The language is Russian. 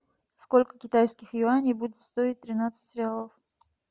сколько китайских юаней будет стоить тринадцать реалов